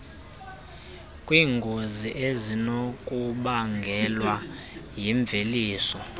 kwiingozi ezinokubangelwa yimveliso